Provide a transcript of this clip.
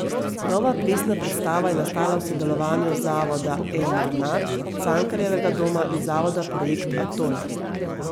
Nova plesna predstava je nastala v sodelovanju Zavoda Emanat, Cankarjevega doma in Zavoda Projekt Atol.